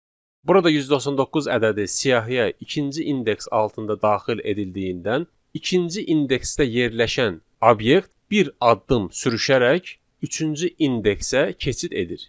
Burada 199 ədədi siyahıya ikinci indeks altında daxil edildiyindən, ikinci indeksdə yerləşən obyekt bir addım sürüşərək üçüncü indeksə keçid edir.